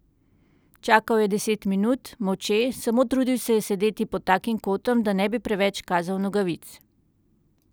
Čakal je deset minut, molče, samo trudil se je sedeti pod takim kotom, da ne bi preveč kazal nogavic.